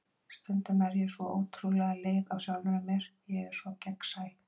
Stundum er ég svo ótrúlega leið á sjálfri mér, ég er svo gegnsæ.